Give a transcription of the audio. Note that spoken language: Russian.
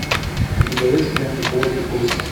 у тебя есть лента плоть и кости